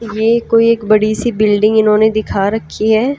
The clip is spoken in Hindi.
ये कोई एक बड़ी सी बिल्डिंग इन्होंने दिखा रखी है।